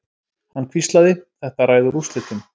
Hann hvíslaði: Þetta ræður úrslitum.